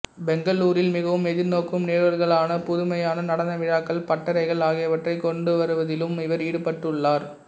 பெங்களூரில் மிகவும் எதிர்நோக்கும் நிகழ்வுகளான புதுமையான நடன விழாக்கள் பட்டறைகள் ஆகியவற்றைக் கொண்டுவருவதிலும் இவர் ஈடுபட்டுள்ளார்